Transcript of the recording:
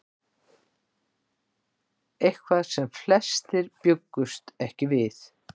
Eitthvað sem flestir bjuggust ekki við